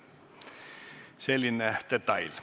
Selline detail.